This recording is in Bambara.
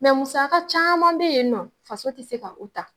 Mɛ musaka caman bɛ yen nɔ faso tɛ se ka o ta.